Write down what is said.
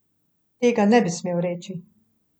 Tega ne bi smel reči.